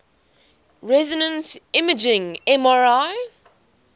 resonance imaging mri